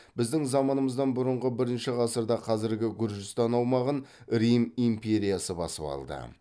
біздің заманымыздан бұрынғы бірінші ғасырда қазіргі гүржістан аумағын рим империясы басып алды